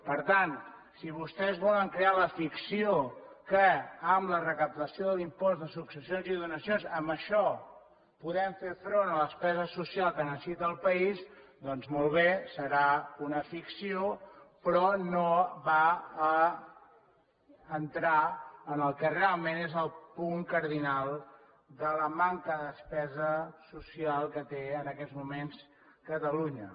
per tant si vostès volen crear la ficció que amb la recaptació de l’impost de successions i donacions amb això podem fer front a la despesa social que necessita el país doncs molt bé serà una ficció però no va a entrar en el que realment és el punt cardinal de la manca de despesa social que té en aquests moments catalunya